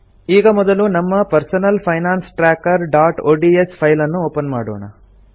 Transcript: ಈಗ ಮೊದಲು ನಮ್ಮ personal finance trackerಒಡಿಎಸ್ ಫೈಲ್ ನ್ನು ಓಪನ್ ಮಾಡೋಣ